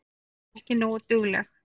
Ekki nógu dugleg.